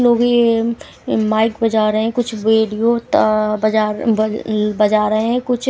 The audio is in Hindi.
लोग ये माइक बजा रहे है कुछ वीडियो त बजा बज बजा रहे हैं कुछ--